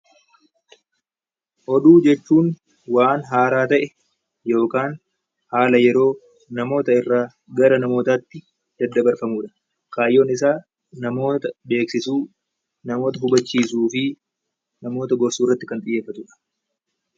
Oduu jechuun waan haaraa ta'e yookaan haala yeroo namoota irraa gara namootaatti daddabarfamudha. Kaayyoon isaa namoota beeksisuu, namoota hubachiisuu fi namoota gorsuu irratti kan xiyyeeffatedha.